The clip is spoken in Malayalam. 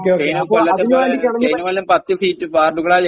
ഓക്കേ, ഓക്കേ, അപ്പൊ അതിനുവേണ്ടി കിണഞ്ഞു പരിശ്രമിക്കുക..